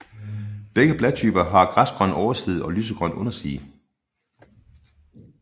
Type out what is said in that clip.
Begge bladtyper har græsgrøn overside og lysegrøn underside